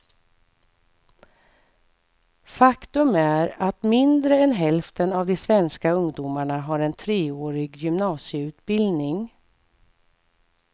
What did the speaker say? Faktum är att mindre än hälften av de svenska ungdomarna har en treårig gymnasieutbildning.